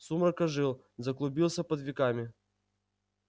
сумрак ожил заклубился под веками